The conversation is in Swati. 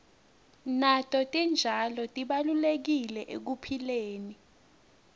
nato titjalo tibalulekile ekuphileni